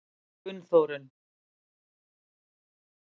Gunnþórunn